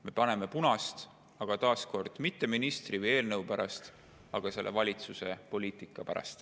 Me paneme punast, aga taas kord ütlen, et mitte ministri või eelnõu pärast, vaid selle valitsuse poliitika pärast.